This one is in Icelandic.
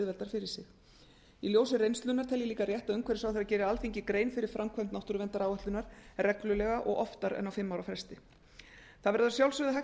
auðveldar fyrir sig í ljósi reynslunnar tel ég líka rétt að umhverfisráðherra geri alþingi grein fyrir framkvæmd náttúruverndaráætlunar reglulega og oftar en á fimm ára fresti það verður að sjálfsögðu hægt